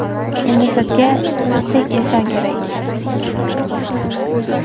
Endi sizga sizdek inson kerak.